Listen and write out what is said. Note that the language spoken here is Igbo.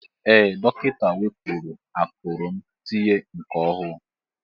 Ee dọkịta wepụrụ akụrụ m tinye nke ọhụụ.